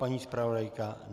Paní zpravodajka?